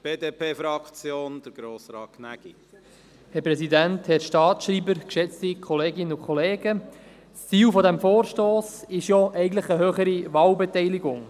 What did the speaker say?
Das Ziel dieses Vorstosses ist eigentlich eine höhere Wahlbeteiligung.